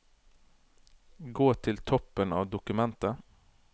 Gå til toppen av dokumentet